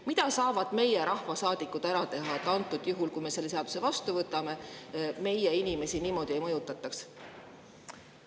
Mida saavad rahvasaadikud ära teha, et kui me selle seaduse vastu võtame, siis meie inimesi niimoodi ei mõjutataks?